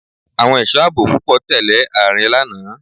Àwọn ẹ̀sọ́ àbò púpọ̀ tẹ̀lẹ́ Ààrẹ lánàá.